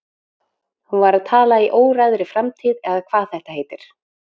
Hún var að tala í óræðri framtíð eða hvað þetta heitir.